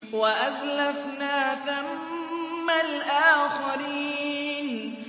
وَأَزْلَفْنَا ثَمَّ الْآخَرِينَ